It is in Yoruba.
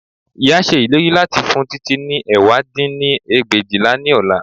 Ìyá ṣe ìlérí láti fún Títí ní ẹ̀wá dín ní ẹgbẹ̀éjìlá ní ọ̀la